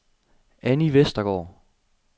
Anni Westergaard